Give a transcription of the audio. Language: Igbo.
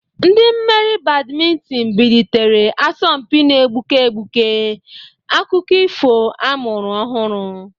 Ndị mmeri Badiminton bilitere, asọmpi na-egbuke egbuke, akụkọ ifo a mụrụ ọhụrụ.